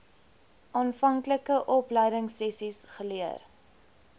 aanvanklike opleidingsessies geleer